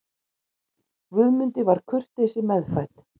Guðmundi var kurteisi meðfædd.